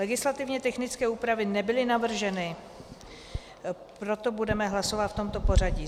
Legislativně technické úpravy nebyly navrženy, proto budeme hlasovat v tomto pořadí: